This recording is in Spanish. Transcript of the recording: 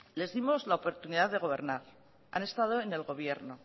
les dimos la oportunidad de gobernar han estado en el gobierno